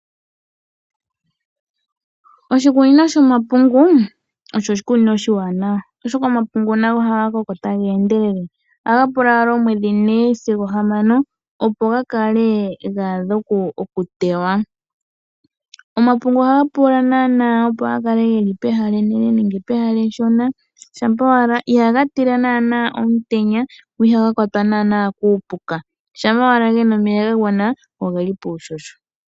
Oshikunino shomapungu osho oshikunino oshiwanawa oshoka omapungu nago ohaga koko taga e ndelele, ohaga pula omwedhi ne sigo hamano opo ga kale gaadha okutewa. Omapungu ohaga pula naanaa opo gakale geli pehala enene nenge pehala eshona shampa owala, ohaga tila naana omutenya go ihaga kwatwa lela kuupuka shampa gena omeya gagwana go ogeli puuhoho.